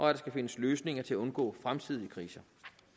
der skal findes løsninger til at undgå fremtidige kriser